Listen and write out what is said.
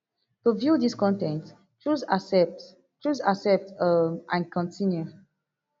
to view dis con ten t choose accept choose accept um and continue